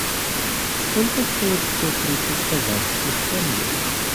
сколько стоит сто тридцать казахских тенге